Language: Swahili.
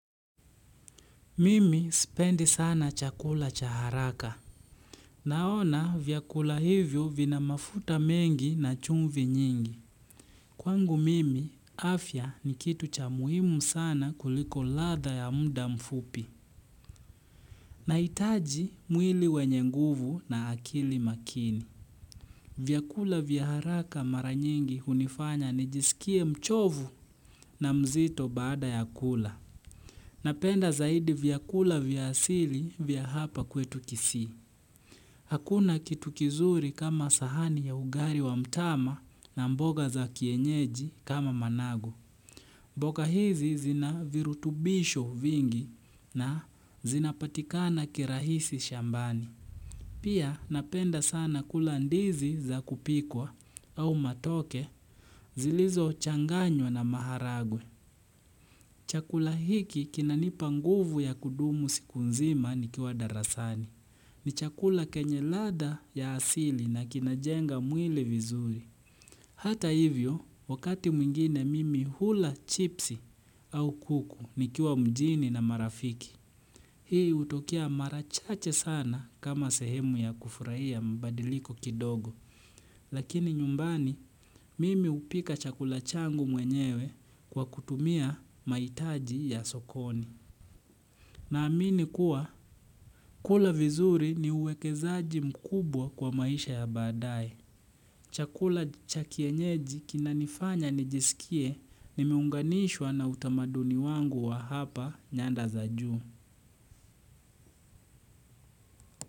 Mimi spendi sana chakula cha haraka. Naona vyakula hivyo vina mafuta mengi na chumvi nyingi. Kwangu mimi, afya ni kitu cha muhimu sana kuliko latha ya muda mfupi. Na hitaji mwili wenye nguvu na akili makini. Vyakula vya haraka mara nyingi hunifanya nijisikie mchovu na mzito baada ya kula. Napenda zaidi vyakula vya asili vya hapa kwetu kisii. Hakuna kitu kizuri kama sahani ya ugali wa mtama na mboga za kienyeji kama managu. Mboga hizi zina virutubisho vingi na zinapatikana kirahisi shambani. Pia napenda sana kula ndizi za kupikwa au matoke zilizo changanywa na maharagwe. Chakula hiki kinanipa nguvu ya kudumu siku nzima ni kiwa darasani. Ni chakula kenye ladha ya asili na kinajenga mwili vizuri. Hata hivyo, wakati mwingine mimi hula chips au kuku nikiwa mjini na marafiki. Hii hutokea mara chache sana kama sehemu ya kufurahia mabadiliko kidogo. Lakini nyumbani, mimi hupika chakula changu mwenyewe kwa kutumia mahitaji ya sokoni. Na amini kuwa kula vizuri ni uwekezaji mkubwa kwa maisha ya badaae. Chakula cha kienyeji kinanifanya nijisikie nimeunganishwa na utamaduni wangu wa hapa nyanda za juu.